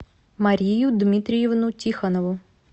марию дмитриевну тихонову